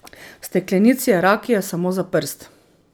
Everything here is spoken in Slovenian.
V steklenici je rakije samo za prst.